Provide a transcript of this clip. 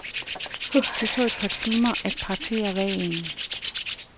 Det tog et par timer at partere hvalen.